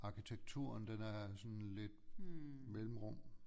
Arkitekturen den er sådan lidt mellemrum